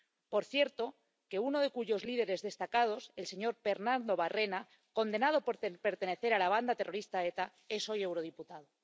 Por cierto, uno de sus líderes destacados, el señor Pernando Barrena, condenado por pertenecer a la banda terrorista ETA, es hoy eurodiputado.